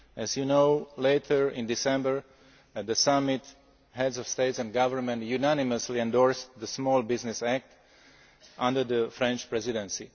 As you know, at the summit later in December, the Heads of State and Government unanimously endorsed the Small Business Act, under the French Presidency.